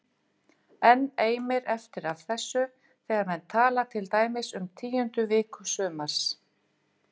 Enn eimir eftir af þessu þegar menn tala til dæmis um tíundu viku sumars